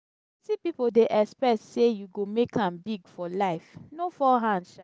plenty pipo dey expect sey you go make am big for life. no fall hand sha!